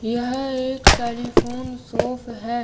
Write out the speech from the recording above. यह एक टेलीफोन सोफ है।